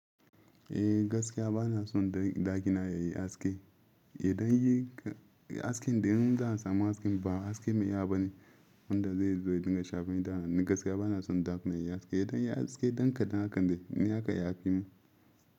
Eh gaskiya ba na son ɗaki na yayi haske. Idan yayi haske, idan zan samu hasken ba haske mai iya ba ne wanda zai zo ya dinga shafa ni da hana ni. Gaskiya ba na son ɗakina yayi haske. Idan yayi haske, ɗan kaɗan haka ne haka ya afe min.